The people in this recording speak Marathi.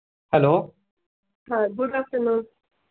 hello